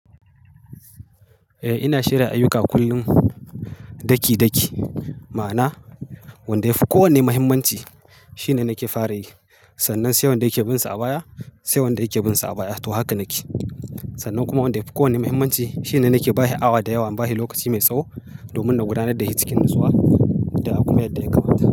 Eh ina shirya ayyuka kullum daki daki, ma'ana wanda yafi kowane muhimmanci shine nake fara yi. Sannan sai wanda yake bin sa a baya, sai wanda yake bin sa a baya. To haka nake. Sannan kuma wanda yafi kowane muhimmanci shine nake ba shi awa da yawa. Ba shi lokaci mai tsawo domin na gudanar da shi cikin natsuwa da kuma yadda ya kamata.